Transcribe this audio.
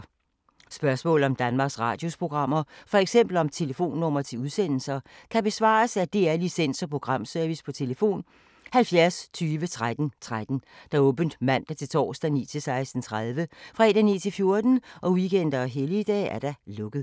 Spørgsmål om Danmarks Radios programmer, f.eks. om telefonnumre til udsendelser, kan besvares af DR Licens- og Programservice: tlf. 70 20 13 13, åbent mandag-torsdag 9.00-16.30, fredag 9.00-14.00, weekender og helligdage: lukket.